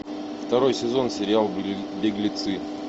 второй сезон сериал беглецы